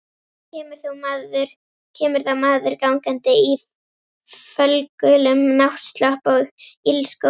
Kemur þá maður gangandi í fölgulum náttslopp og ilskóm.